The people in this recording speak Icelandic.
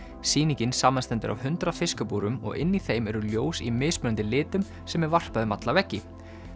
sýningin samanstendur af hundrað fiskabúrum og inni í þeim eru ljós í mismunandi litum sem er varpað um alla veggi